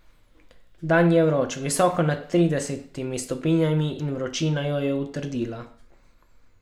Dan je vroč, visoko nad tridesetimi stopinjami, in vročina jo je utrudila.